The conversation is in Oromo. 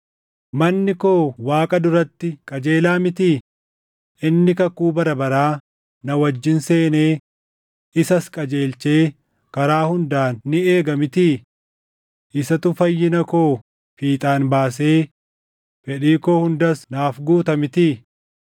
“Manni koo Waaqa duratti qajeelaa mitii? Inni kakuu bara baraa na wajjin seenee isas qajeelchee karaa hundaan ni eega mitii? Isatu fayyina koo fiixaan baasee fedhii koo hundas naaf guuta mitii?